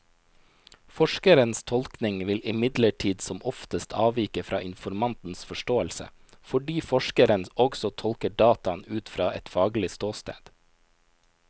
Forskerens tolkning vil imidlertid som oftest avvike fra informantens forståelse, fordi forskeren også tolker dataene ut fra et faglig ståsted.